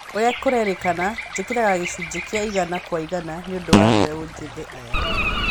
Oũrĩa kũrerĩkana: njikaraga gĩcunjĩ kĩa igana kwa igana nĩũndũ wa mbeũ njĩthĩ aya